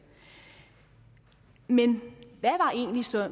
men